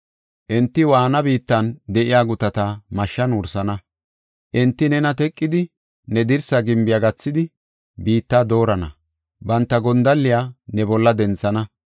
Enti waanna biittan de7iya gutata mashshan wursana. Enti nena teqidi, ne dirsa gimbiya gathidi, biitta doorana; banta gondalliya ne bolla denthana.